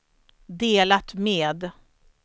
delat med